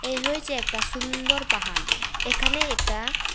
এই হয়েছে একতা সুন্দর পাহাড় এখানে একতা ।